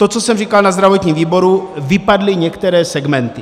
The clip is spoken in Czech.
To, co jsem říkal na zdravotním výboru, vypadly některé segmenty.